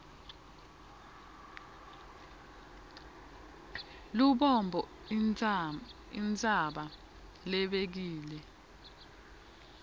lubombo intsaba lebekile